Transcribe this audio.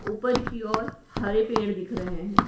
ऊपर की ओर हरे पेड़ दिख रहे हैं।